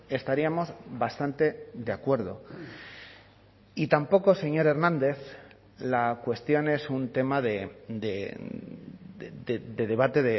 estaríamos bastante de acuerdo y tampoco señor hernández la cuestión es un tema de debate